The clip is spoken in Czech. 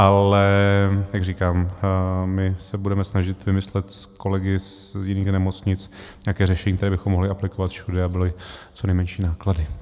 Ale jak říkám, my se budeme snažit vymyslet s kolegy z jiných nemocnic nějaké řešení, které bychom mohli aplikovat všude, a byly co nejmenší náklady.